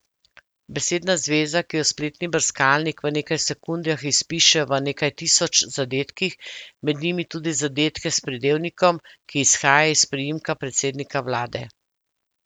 Besedna zveza, ki jo spletni brskalnik v nekaj sekundah izpiše v nekaj tisoč zadetkih, med njimi tudi zadetke s pridevnikom, ki izhaja iz priimka predsednika vlade.